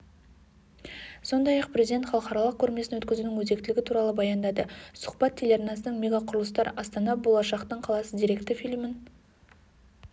сондай-ақ президент халықаралық көрмесін өткізудің өзектілігі туралы баяндады сұхбат телеарнасының мегақұрылыстар астана болашақтың қаласы деректі фильмін